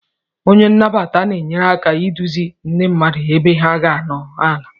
Onye nnabata na-enyere aka iduzi ndị mmadụ ebe ha ga-anọdụ ala.